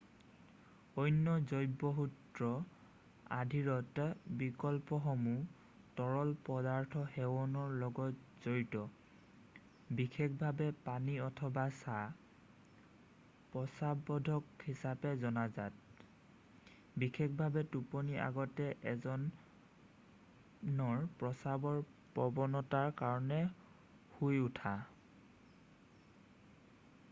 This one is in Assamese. অন্য জৈৱসূত্ৰ-আধিৰত বিকল্পসমূহ তৰল পদাৰ্থ সেৱনৰ লগত জড়িত বিশেষভাৱে পানী অথবা চাহ প্ৰস্ৰাৱবৰ্ধক হিচাপে জনাজাত বিশেষভাৱে টোপনিৰ আগতে এজনৰ প্ৰস্ৰাৱৰ প্ৰৱণতাৰ কাৰণে শুই উঠা।